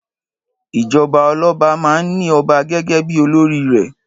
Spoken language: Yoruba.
Ìjọba ọlọ́ba máa ń ní ọba gẹ́gẹ́ bí olórí rẹ̀.